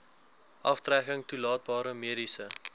aftrekking toelaatbare mediese